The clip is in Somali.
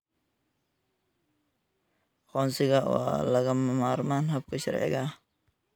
Aqoonsigu waa lagama maarmaan habka sharciga ah.